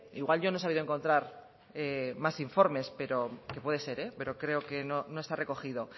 igual yo no he sabido encontrar más informes que puede ser pero creo que no está recogido